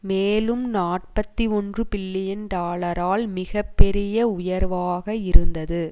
மேலும் நாற்பத்தி ஒன்று பில்லியன் டாலரால் மிக பெரிய உயர்வாக இருந்தது